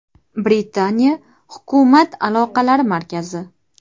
Britaniya hukumat aloqalari markazi.